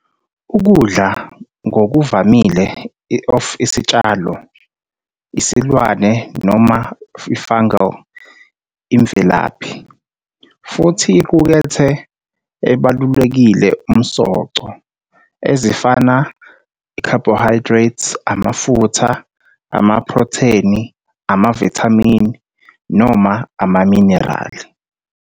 Ukudla ngokuvamile of isitshalo, isilwane noma fungal imvelaphi, futhi iqukethe ebalulekile umsoco, ezifana carbohydrate, amafutha, amaphrotheni, amavithamini, noma amaminerali.